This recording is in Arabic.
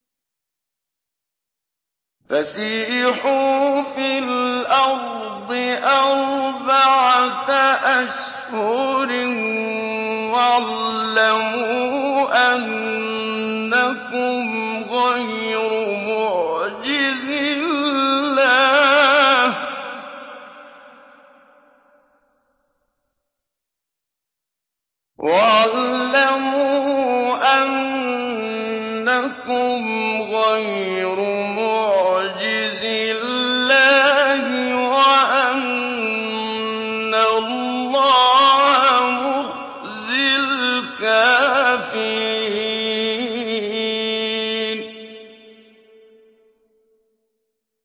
فَسِيحُوا فِي الْأَرْضِ أَرْبَعَةَ أَشْهُرٍ وَاعْلَمُوا أَنَّكُمْ غَيْرُ مُعْجِزِي اللَّهِ ۙ وَأَنَّ اللَّهَ مُخْزِي الْكَافِرِينَ